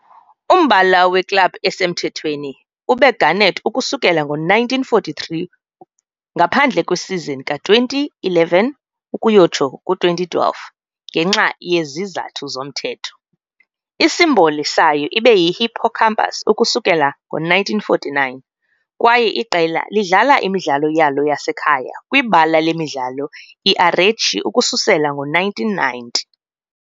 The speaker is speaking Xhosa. Umbala weklabhu esemthethweni ube garnet ukusukela ngo-1943 ngaphandle kwesizini ka-2011-2012, ngenxa yezizathu zomthetho, isimboli sayo ibe yihippocampus ukusukela ngo-1949, kwaye iqela lidlala imidlalo yalo yasekhaya. kwibala lemidlalo iArechi ukususela ngo-1990.